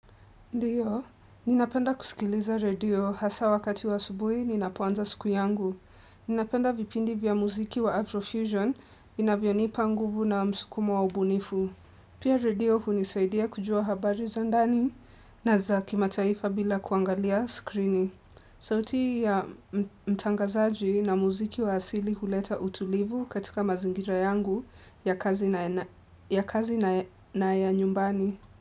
Ndiyo, ninapenda kusikiliza radio hasa wakati wa asubuhi ninapoanza siku yangu. Ninapenda vipindi vya muziki wa Avrofusion inavyonipa nguvu na msukumo wa ubunifu. Pia redio hunisaidia kujua habari zandani na zakimataifa bila kuangalia skrini. Sauti ya mtangazaji na muziki wa asili huleta utulivu katika mazingira yangu ya kazi na ya na ya kazi na na ya nyumbani.